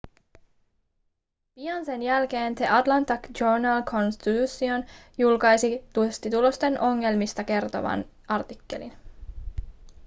pian sen jälkeen the atlanta journal-constitution julkaisi testitulosten ongelmista kertovan artikkelin